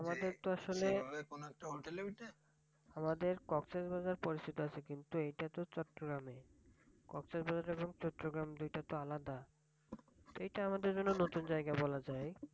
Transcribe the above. আমাদের কক্সবাজারে পরিচিত আছে কিন্তু এটাতো চট্রগ্রামে কক্সবাজার এবং চট্রগ্রাম এই দুইটা তো আলাদা। এটা আমাদের জন্য নতুন জায়গা বলা যায়।